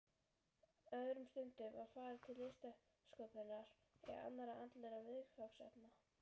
Öðrum stundum var varið til listsköpunar eða annarra andlegra viðfangsefna.